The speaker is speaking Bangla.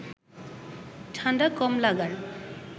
ঠাণ্ডা কম লাগার